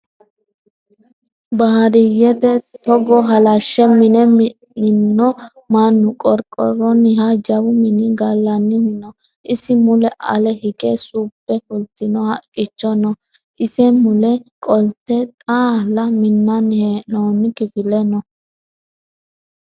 Baadiyyete togo halashe mine mi'nanno mannu qorqoroniha jawu mini gallanihu no isi mule ale hige subbe fultino haqqicho no ise mule qolte xaalla minani hee'nonni kifile no